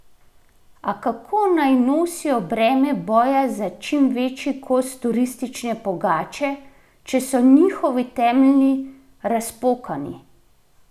A kako naj nosijo breme boja za čim večji kos turistične pogače, če so njihovi temelji razpokani?